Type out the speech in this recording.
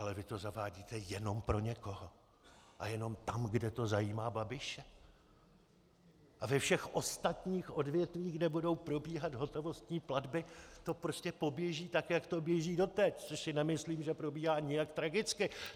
Ale vy to zavádíte jenom pro někoho a jenom tam, kde to zajímá Babiše, a ve všech ostatních odvětvích, kde budou probíhat hotovostní platby, to prostě poběží tak, jak to běží doteď - což si nemyslím, že probíhá nijak tragicky.